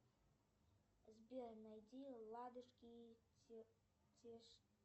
сбер найди ладушки